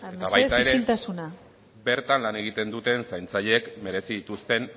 mesedez isiltasuna eta baita ere bertan lan egiten duten zaintzaileek merezi dituzten